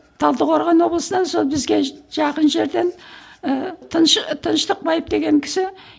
талдықорған облысынан сол бізге жақын жерден ііі тыныштықбаев деген кісі